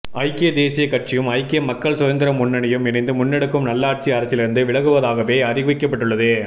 ஐக்கிய தேசியக் கட்சியும் ஐக்கிய மக்கள் சுதந்திர முன்னணியும் இணைந்து முன்னெடுக்கும் நல்லாட்சி அரசிலிருந்து விலகுவதாகவே அறிவிக்கப்பட்டுள்ளது